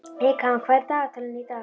Eykam, hvað er í dagatalinu í dag?